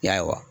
Ya